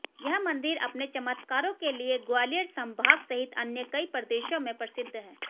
यह मंदिर अपने चमत्कारों के लिए ग्वालियर संभाग सहित अन्य कई प्रदेशों में प्रसिद्ध है